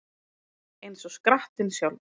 Eins og skrattinn sjálfur